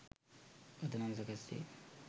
පදනම් සකස් වේ.